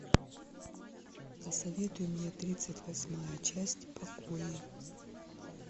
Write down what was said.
посоветуй мне тридцать восьмая часть покои